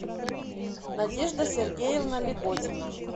надежда сергеевна леготина